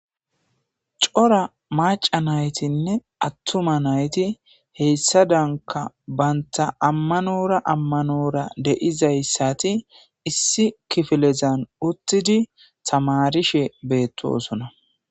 cora maca naytinne attuma nayti heyssa danka banta ammanora ammanora deizayssati issi kifilezan uttidi samarishe beettosona